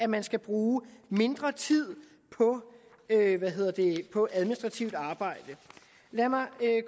man skal bruge mindre tid på administrativt arbejde lad mig